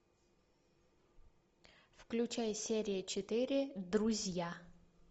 включай серия четыре друзья